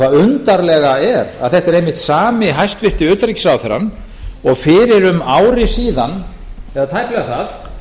það undarlega er að þetta er einmitt sami hæstvirtur utanríkisráðherrann og fyrir um ári síðan eða tæplega það